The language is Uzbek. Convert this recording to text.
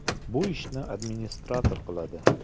Bu ishni administrator qiladi.